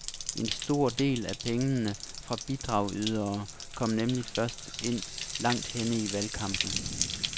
En stor del af pengene fra bidragydere kommer nemlig først ind langt henne i valgkampen.